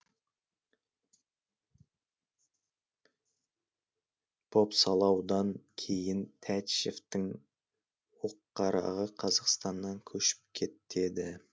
бопсалаудан кейін тәтішевтің оққарағы қазақстаннан көшіп кетеді